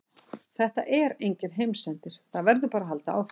Þetta er enginn heimsendir, það verður bara að halda áfram.